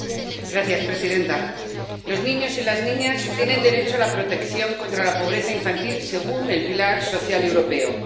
Señora presidenta, los niños y las niñas tienen derecho a la protección contra la pobreza infantil, según el pilar social europeo.